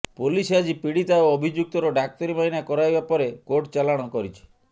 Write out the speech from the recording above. police ଆଜି ପୀଡିତା ଓ ଅଭିଯୁକ୍ତର ଡାକ୍ତରୀ ମାଇନା କରାଇବା ପରେ କୋର୍ଟ ଚାଲାଣ କରିଛି